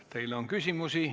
Teile on küsimusi.